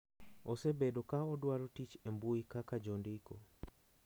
Osebedo ka odwaro tich e mbui kaka jondiko,